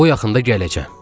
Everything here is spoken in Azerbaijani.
Bu yaxında gələcəm.